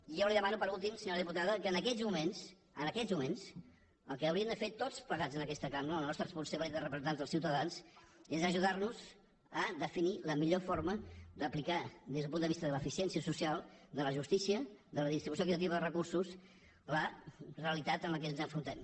i jo li demano per últim senyora diputada que en aquests moments en aquests moments el que haurí·em de fer tots plegats en aquesta cambra en la nostra responsabilitat de representants dels ciutadans és aju·dar·nos a definir la millor forma d’aplicar des del punt de vista de l’eficiència social de la justícia de la dis·tribució equitativa de recursos la realitat amb què ens afrontem